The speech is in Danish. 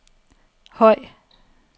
høj